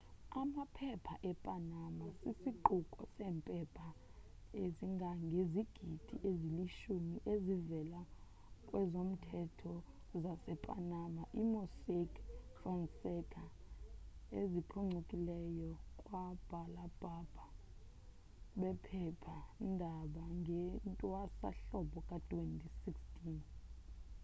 amaphepha e-panama sisiquko sempepha ezingangezigidi eziyilishumi ezivela kwezomthetho zase-panama i-mossack fonseca eziphuncikileyo kwababhala bephepha ndaba ngewntwasa hlobo ka-2016